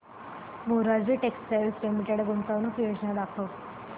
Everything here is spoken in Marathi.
मोरारजी टेक्स्टाइल्स लिमिटेड गुंतवणूक योजना दाखव